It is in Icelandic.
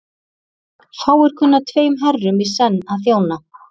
Fáir kunna tveim herrum í senn að þjóna.